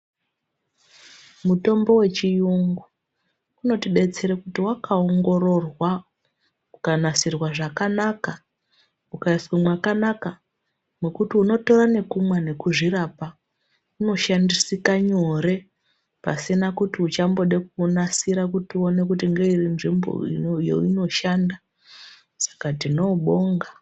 Mutombo wechiyungu unotidetsera kuti wakaongororwa ukanasirwa zvakanaka ukaiswe mwakanaka mwekuti unotora nekumwa nekuzvirapa unoshandisika nyore pasina kuti uchambida kunasira kuti uone kuti ngeiri nzvimbo yaunoshanda saka tinoubonga.